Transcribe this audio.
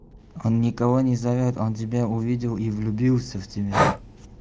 он никого не зовёт он тебя увидел и влюбился в тебя